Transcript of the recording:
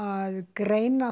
greina